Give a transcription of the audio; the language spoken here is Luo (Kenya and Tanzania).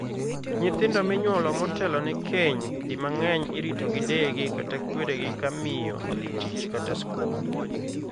Nyithindo minyuolo motelone keny di mang'eny irito gi deyegi kata kweregi ka miyo odhi tich kata skul.